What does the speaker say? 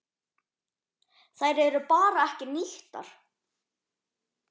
Þær eru bara ekki nýttar.